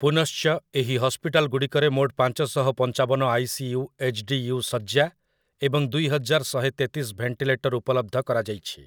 ପୁନଶ୍ଚ, ଏହି ହସ୍ପିଟାଲ୍‌ଗୁଡ଼ିକରେ ମୋଟ ପାଞ୍ଚଶହ ପଞ୍ଚାବନ ଆଇ.ସି.ୟୁ. ଏଚ୍‌.ଡି.ୟୁ. ଶଯ୍ୟା ଏବଂ ଦୁଇହଜାର ଶହେତେତିଶ ଭେଣ୍ଟିଲେଟର୍ ଉପଲବ୍ଧ କରାଯାଇଛି ।